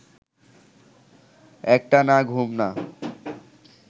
একটা না-ঘুম না